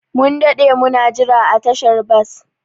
Mun daɗe muna jira a tashar bas.